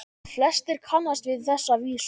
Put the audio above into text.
Flestir kannast við þessa vísu